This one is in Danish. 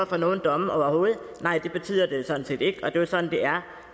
for nogen domme overhovedet nej det betyder det sådan set ikke det er jo sådan det er